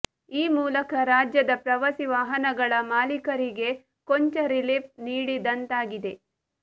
ಈ ಮೂಲಕ ರಾಜ್ಯದ ಪ್ರವಾಸಿ ವಾಹನಗಳ ಮಾಲೀಕರಿಗೆ ಕೊಂಚ ರಿಲೀಫ್ ನೀಡಿದಂತಾಗಿದೆ